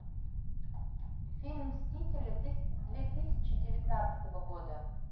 фильм мстители две тысячи девятнадцатого года